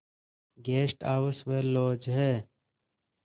guest house व lodge हैं